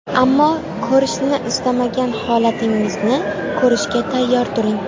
Ammo ko‘rishni istamagan holatingizni ko‘rishga tayyor turing.